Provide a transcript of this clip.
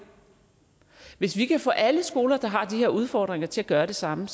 hvis vi kan få alle skoler der har de her udfordringer til at gøre det samme